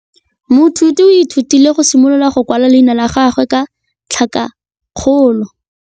Moithuti o ithutile go simolola go kwala leina la gagwe ka tlhakakgolo.